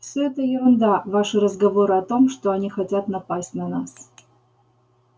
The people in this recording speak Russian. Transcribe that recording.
все это ерунда ваши разговоры о том что они хотят напасть на нас